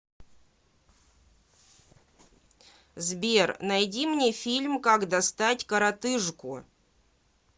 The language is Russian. сбер найди мне фильм как достать коротыжку